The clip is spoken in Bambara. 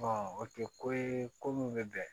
o tɛ ko ye ko min bɛ bɛn